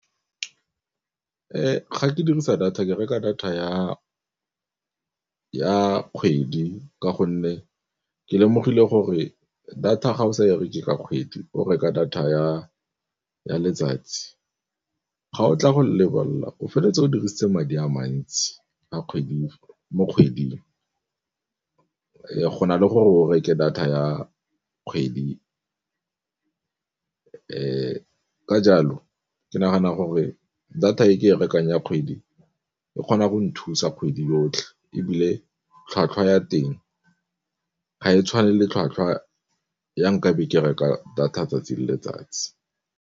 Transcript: Ga ke dirisa data ke reka data ya kgwedi ka gonne ke lemogile gore data ga o sa ye reke ka kgwedi o reka data ya letsatsi ga o tla go lebelela o feleletsa o dirisitse madi a mantsi mo kgweding, go na le gore o reke data ya kgwedi. Ka jalo ke nagana gore data e ke e rekang ya kgwedi e kgona go nthusa kgwedi yotlhe ebile tlhwatlhwa ya teng ga e tshwane le tlhwatlhwa ya nkabe ke reka data ya 'tsatsi le letsatsi